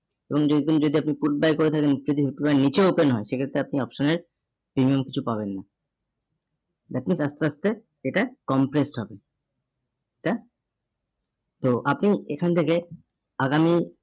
এবং যেরকম যদি আপনি put buy করে থাকেন ইত্যাদি নিচে open হয় সেক্ষেত্রে আপনি option এর premium কিছু পাবেন না। that means আস্তে আস্তে এটা compressed হবে। এটা তো আপনি এখান থেকে আগামী